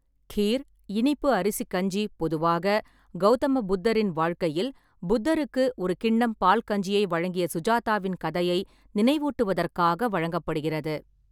கீர், இனிப்பு அரிசி கஞ்சி பொதுவாக, கௌதம புத்தரின் வாழ்க்கையில், புத்தருக்கு ஒரு கிண்ணம் பால் கஞ்சியை வழங்கிய சுஜாதாவின் கதையை நினைவூட்டுவதற்காக வழங்கப்படுகிறது.